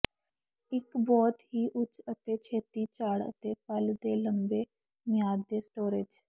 ਇੱਕ ਬਹੁਤ ਹੀ ਉੱਚ ਅਤੇ ਛੇਤੀ ਝਾੜ ਅਤੇ ਫਲ ਦੇ ਲੰਬੇ ਮਿਆਦ ਦੇ ਸਟੋਰੇਜ਼